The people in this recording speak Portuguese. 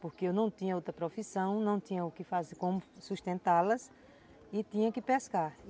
Porque eu não tinha outra profissão, não tinha o quê fazer, como sustentá-las e tinha que pescar.